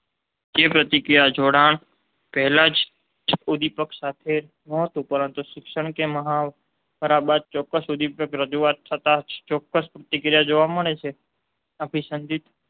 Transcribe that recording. જે પ્રતિક્રિયાનું જોડાણ પહેલા જેને ઉદીપક સાથે નહોતું પરંતુ શિક્ષણ કે મહાવરા બાદ ચોક્કસ ઉદીપની રજૂઆત થતાં જ ચોક્કસ પ્રતિક્રિયા જોવા મળે તો તેને અભિસહિત